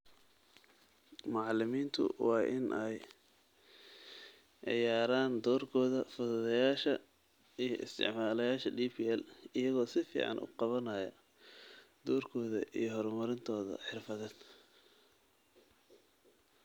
Macallimiintu waa inay ciyaaraan doorka fududeeyayaasha iyo isticmaalayaasha DPL, iyagoo si fiican u qaabaynaya doorkooda iyo horumarintooda xirfadeed.